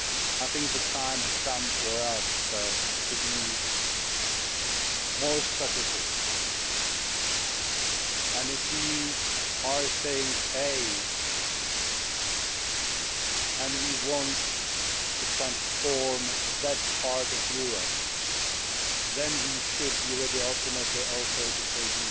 I think the time has come for us to be more strategic and if we are saying that we want to transform that part of Europe, then we should be ready ultimately also to